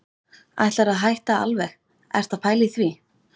Ætlarðu að hætta alveg. ertu að pæla í því?